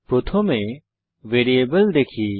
প্রথমে ভ্যারিয়েবল দেখি